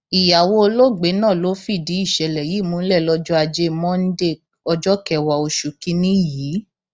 ìyàwó olóògbé náà ló fìdí ìṣẹlẹ yìí múlẹ lọjọ ajé monde ọjọ kẹwàá oṣù kìínní yìí